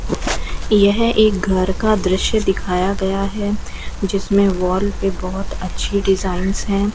यह एक घर का दृश्य दिखाया गया है जिसमें वॉल पे बहुत अच्छी डिजाइंस है।